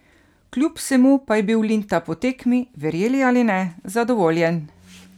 Kljub vsemu pa je bil Linta po tekmi, verjeli ali ne, zadovoljen!